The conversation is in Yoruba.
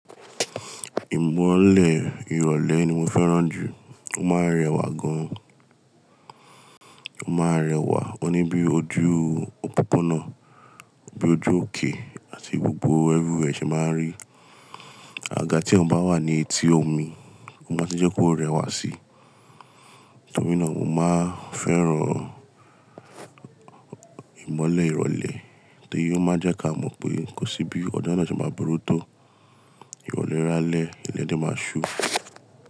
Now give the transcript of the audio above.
Ìmọ́lẹ̀ ìrọ̀lẹ́ ni mo fẹ́ràn jù. Ó máa ń rẹwà gan. Ó máa ń rẹwà oní bí ojú òpópónà, bí ojú òkè àti gbogbo ẹrú ẹ ṣe máa ń rí. Àgàgà ti èèyàn baa wa ni etí omi, o maa tun je ko rewa sii. Nítorínà mo máa ń fẹ́ràn ìmọ́lẹ̀ ìrọ̀lẹ́ torí ó máa ń jẹ́ ká mọ̀ pé kò sí bí ọjọ náà ṣe máa burú tó. Ìrọ̀lẹ́ rálé, ilé de máa ṣú.